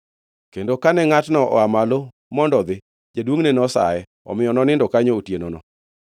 Kendo kane ngʼatno oa malo mondo odhi, jaduongʼne nosaye, omiyo nonindo kanyo otienono.